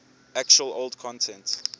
actual old content